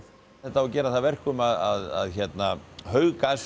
þetta gerir það að verkum að